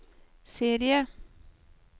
serie